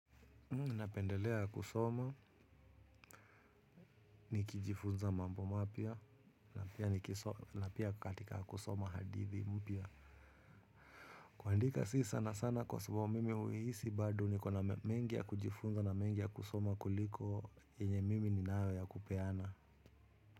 Napendelea kusoma ni kijifunza mambo mapya na pia katika kusoma hadithi mpya. Kuandika si sana sana kwa sababu mimi uhisi bado ni kuna mengi ya kujifunza na mengi ya kusoma kuliko yenye mimi ni nawe ya kupeana.